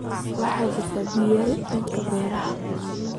Waxaa jirta biyo yari dhanka beeraha ah.